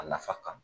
A nafa kama